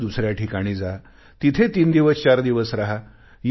नंतर दुसऱ्या ठिकाणी जा तिथे तीन दिवस चार दिवस राहा